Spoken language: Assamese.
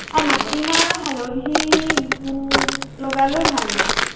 মাটিমাহ আৰু হালধি উম লগালেও ভাল হয়।